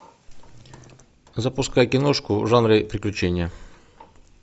запускай киношку в жанре приключения